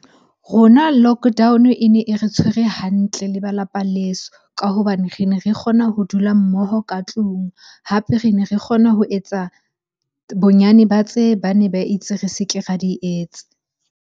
Rona lockdown-o e ne e re tshwere hantle le ba lapa leso ka hobane re ne re kgona ho dula mmoho ka tlung. Hape re ne re kgona ho etsa bonyane ba tse bane ba itse re se ke ra di etsa.